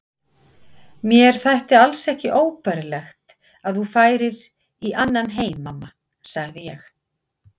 Mér þætti alls ekki óbærilegt að þú færir í annan heim mamma, sagði ég.